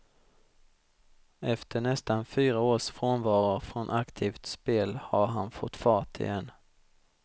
Efter nästan fyra års frånvaro från aktivt spel har han fått fart igen.